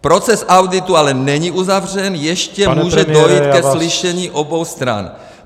Proces auditu ale není uzavřen, ještě může dojít ke slyšení obou stran.